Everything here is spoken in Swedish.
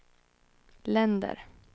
länder